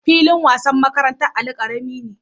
Filin wasan makarantar Ali karami ne